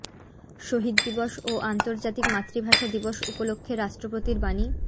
শহীদ দিবস ও আন্তর্জাতিক মাতৃভাষা দিবস উপলক্ষে রাষ্ট্রপতির বাণী